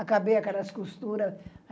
Acabei aquelas costuras.